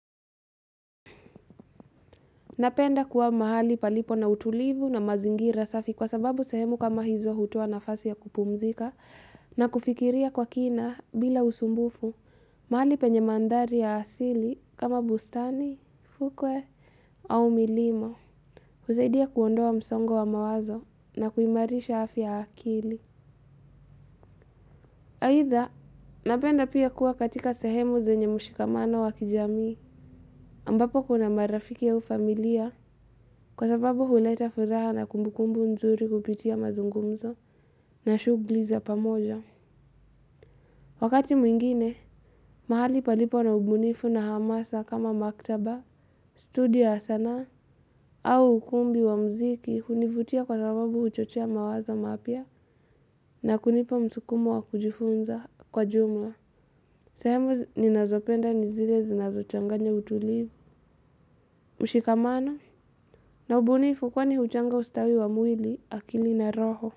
Napenda kuwa mahali palipo na utulivu na mazingira safi kwa sababu sehemu kama hizo hutoa nafasi ya kupumzika na kufikiria kwa kina bila usumbufu, mahali penye mandari ya asili kama bustani, fukwe au milima, kusaidia kuondoa msongo wa mawazo na kuimarisha afia ya akili. Aidha, napenda pia kuwa katika sehemu zenye mushikamano wa kijami ambapo kuna marafiki au familia, kwa sababu huleta furaha na kumbukumbu nzuri kupitia mazungumzo na shughuli za pamoja. Wakati mwingine, mahali palipo na ubunifu na hamasa kama maktaba, studio ya sana au ukumbi wa muziki kunivutia kwa sababu huchochea mawazo mapyia na kunipa msukumo wa kujifunza kwa jumla. Sehemu ni nazopenda nizile zinazochanganya utulivu. Mushikamano na ubunifu kwani huchanga ustawi wa mwili akili na roho.